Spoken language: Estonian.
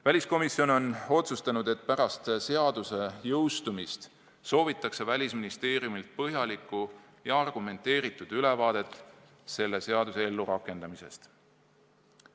Väliskomisjon on otsustanud, et pärast seaduse jõustumist soovitakse Välisministeeriumilt põhjalikku ja argumenteeritud ülevaadet selle seaduse ellurakendamisest.